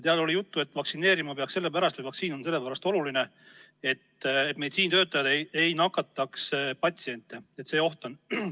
Seal oli juttu, et vaktsineerima peaks sellepärast, et meditsiinitöötajad ei nakataks patsiente, et see oht on.